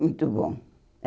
Muito bom. É